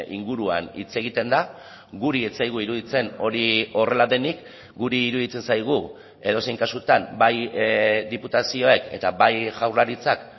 inguruan hitz egiten da guri ez zaigu iruditzen hori horrela denik guri iruditzen zaigu edozein kasutan bai diputazioek eta bai jaurlaritzak